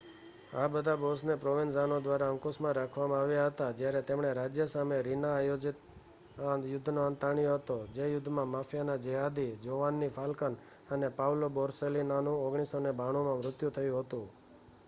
આ બધા બૉસને પ્રોવેન્ઝાનો દ્વારા અંકુશમાં રાખવામાં આવ્યા હતા જ્યારે તેમણે રાજ્ય સામે રીના-આયોજિત યુદ્ધનો અંત આણ્યો હતો જે યુદ્ધમાં માફિયાના જેહાદી જોવન્ની ફાલ્કન અને પાઉલો બોર્સેલિનોનું 1992માં મૃત્યુ થયું હતું